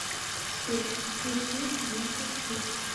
сбер включи бьюти фрик